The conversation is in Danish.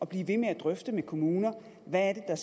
blive ved med at drøfte med kommunerne hvad er